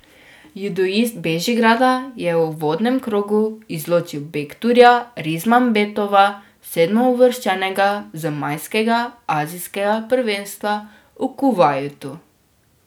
Judoist Bežigrada je v uvodnem krogu izločil Bekturja Rismambetova, sedmouvrščenega z majskega azijskega prvenstva v Kuvajtu.